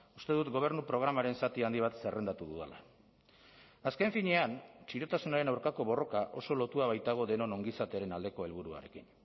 uste dut gobernu programaren zati handi bat zerrendatu dudala azken finean txirotasunaren aurkako borroka oso lotua baitago denon ongizatearen aldeko helburuarekin